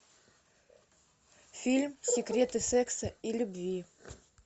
фильм секреты секса и любви